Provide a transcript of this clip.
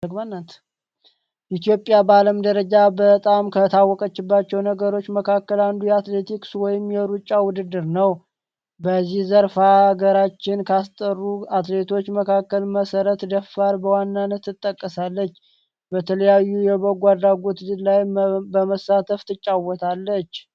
ኢትዮጵያ በአለም ደረጃ በጣም ከታወቀችባቸው ነገሮች መካከል አንዱ የአትሌቲክስ ወይም የሩጫ ውድድር ነው። በዚህ ዘርፍ ሃገርችንን ካስጠሩ አትሌቶች መካከል መሰረት ደፋር በዋናነት ትጠቀሳለች። በተለያዩ የበጎ አድራጎቶች ላይ በመሳተፍም ትጫወታለች።